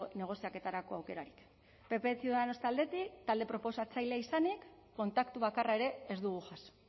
negoziaketarako aukerarik pp ciudadanos taldetik talde proposatzailea izanik kontaktu bakarra ere ez dugu jaso